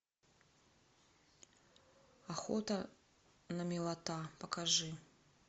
охота на милата покажи